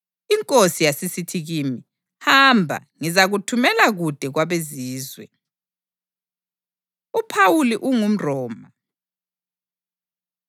INkosi yasisithi kimi, ‘Hamba; ngizakuthumela kude kwabeZizwe.’ ” UPhawuli UngumRoma